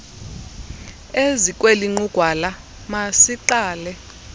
ezikweli nqugwala masiqale